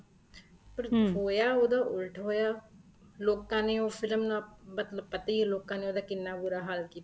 ਪਰ ਹੋਇਆ ਉਹਦਾ ਉੱਲਟ ਹੋਇਆ ਲੋਕਾਂ ਨੇ ਉਹ ਫ਼ਿਲਮ ਮਤਲਬ ਪਤਾ ਹੀ ਹੈ ਲੋਕਾਂ ਨੇ ਉਹਦਾ ਕਿੰਨਾ ਬੂਰਾ ਹਾਲ ਕੀਤਾ